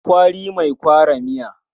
Kwari mai kwara miya.